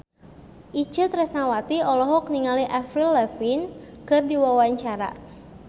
Itje Tresnawati olohok ningali Avril Lavigne keur diwawancara